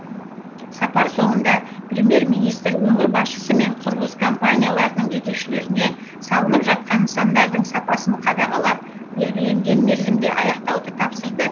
сапар соңында премьер министр өңір басшысы мен құрылыс компанияларының жетекшілеріне салынып жатқан нысандардың сапасын қадағалап белгіленген мерзімде аяқтауды тапсырды